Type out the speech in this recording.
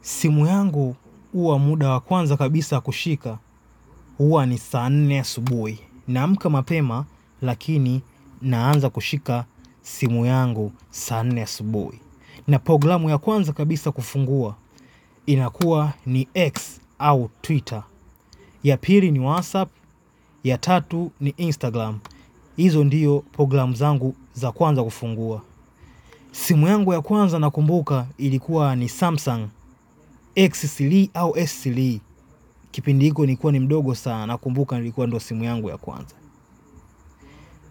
Simu yangu huwa muda wa kwanza kushika huwa ni saa nne asubuhi naamka mapema lakini naanza kushika simu yangu saa nne asubuhi na programu ya kwanza kabisa kufungua inakuwa ni x au twita. Ya pili ni WhatsApp, ya tatu ni Instagram. Hizo ndiyo program zangu za kwanza kufungua. Simu yangu ya kwanza nakumbuka ilikuwa ni Samsung S3 au esli kipindi hiku ni kuwa ni mdogo sana na kumbuka ni likuwa ndo simu yangu ya kwanza